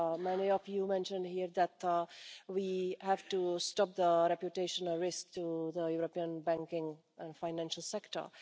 Many of you mentioned here that we have to stop the reputational risk to the European banking and financial sector.